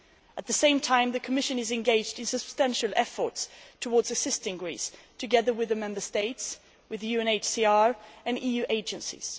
At the same time, the Commission is engaged in substantial efforts towards assisting Greece, together with the Member States, the UNHCR and EU agencies.